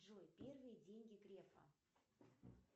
джой первые деньги грефа